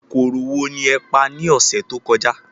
Kòkòrò wo ni ẹ pa ní ọ̀sẹ̀ tó kọjá?